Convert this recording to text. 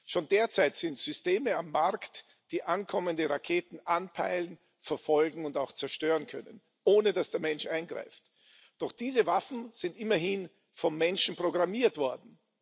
Schon derzeit sind Systeme auf dem Markt, die ankommende Raketen anpeilen, verfolgen und auch zerstören können, ohne dass der Mensch eingreift. Doch diese Waffen sind immerhin vom Menschen programmiert worden.